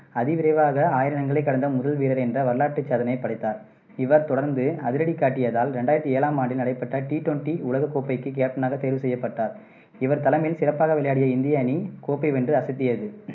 அதிவிரைவாக ஆயிரம் ரன்களை கடந்த முதல் வீரர் என்ற வரலாற்றுச் சாதனையைப் படைத்தார். இவர் தொடர்ந்து அதிரடி காட்டியதால், ரெண்டாயிரத்தி ஏழாம் ஆண்டில் நடைபெற்ற T twenty உலகக் கோப்பைக்கு கேப்டனாக தேர்வு செய்யப்பட்டார். இவர் தலைமையில் சிறப்பாக விளையாடிய இந்திய அணி கோப்பை வென்று அசத்தியது.